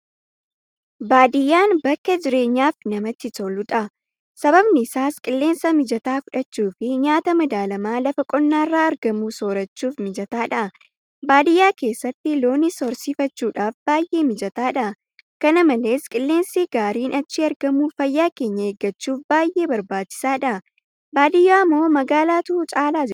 Baadiyyaan bakka jireenyaaf namatti toludha. Sababni isaas qilleensa mijataa fudhachuufi nyaata madaalamaa lafa qonnaarraa argamu soorachuudhaaf mijataadha. Baadiyyaa keessatti Loonis horsiifachuudhaaf baay'ee mijataadha. Kana malees qilleensi gaariin achii argamu fayyaa keenya eeggachuuf baay'ee barbaachisaadha. Baadiyyaamoo magaalaatu caala jettu?